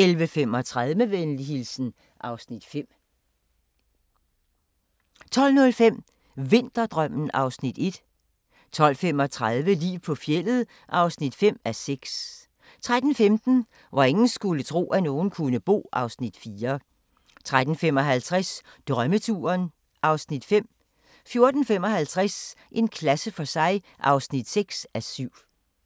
11:35: Med venlig hilsen (Afs. 5) 12:05: Vinterdrømmen (Afs. 1) 12:35: Liv på fjeldet (5:6) 13:15: Hvor ingen skulle tro, at nogen kunne bo (Afs. 4) 13:55: Drømmeturen (Afs. 5) 14:55: En klasse for sig (6:7)